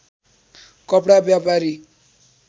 कपडा व्यापारी